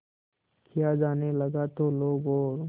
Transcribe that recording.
किया जाने लगा तो लोग और